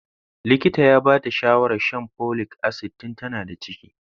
Likitan ya ba ta shawarar shan folic acid tun tana da ciki.